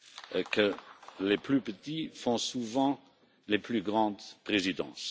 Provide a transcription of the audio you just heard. et que les plus petits font souvent les plus grandes présidences.